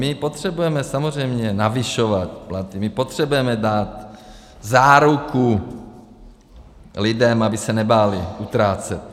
My potřebujeme samozřejmě navyšovat platy, my potřebujeme dát záruku lidem, aby se nebáli utrácet.